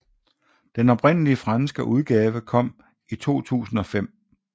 Den oprindelige franske udgave kom i 2005